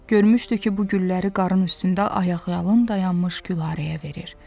Görmüşdü ki, bu gülləri qarın üstündə ayaqyalın dayanmış Gülarəyə verir.